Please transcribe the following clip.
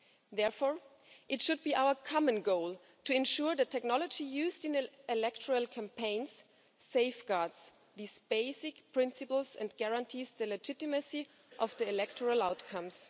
Therefore, it should be our common goal to ensure that technology used in electoral campaigns safeguards these basic principles and guarantees the legitimacy of electoral outcomes.